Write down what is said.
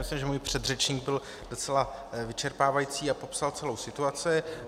Myslím, že můj předřečník byl docela vyčerpávající a popsal celou situaci.